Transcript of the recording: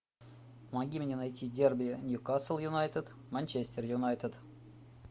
помоги мне найти дерби ньюкасл юнайтед манчестер юнайтед